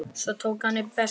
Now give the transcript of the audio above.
Svo tók hann upp veskið.